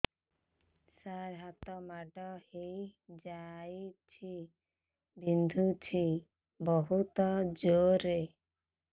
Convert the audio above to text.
ସାର ହାତ ମାଡ଼ ହେଇଯାଇଛି ବିନ୍ଧୁଛି ବହୁତ ଜୋରରେ